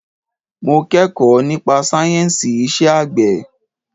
Mo kẹ́kọ̀ọ́ nípa sáyẹ̀nsì iṣẹ́ àgbẹ̀.